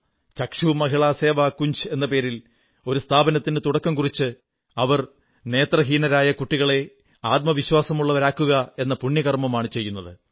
ചക്ഷു മഹിളാ സേവാ കുഞ്ജ് എന്ന പേരിൽ സ്ഥാപനത്തിന് തുടക്കം കുറിച്ച് അവർ നേത്രഹീനരായ കുട്ടികളെ ആത്മവിശ്വാസമുള്ളവരാക്കുകയെന്ന പുണ്യകർമ്മമാണു ചെയ്യുന്നത്